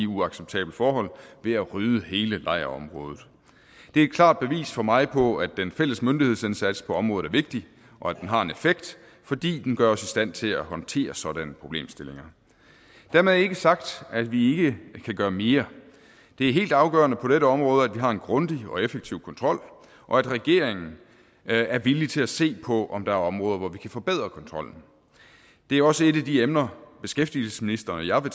uacceptable forhold ved at rydde hele lejrområdet det er et klart bevis for mig på at den fælles myndighedsindsats på området er vigtig og at den har en effekt fordi den gør os i stand til at håndtere sådanne problemstillinger dermed ikke sagt at vi ikke kan gøre mere det er helt afgørende på dette område at vi har en grundig og effektiv kontrol og at regeringen er villig til at se på om der er områder hvor vi kan forbedre kontrollen det er også et af de emner beskæftigelsesministeren og jeg vil